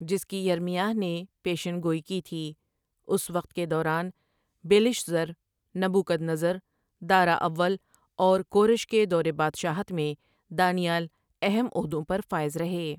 جس کی یرمیاہ نے پیشن گوئی کی تھی اس وقت کے دوران، بیلشضر، نبو کدنضر، دارا اول اور کورش کے دورِ بادشاہت میں دانی ایل اہم عہدوں پر فائز رہے ۔